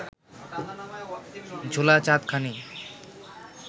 ঝোলা চাঁদখানি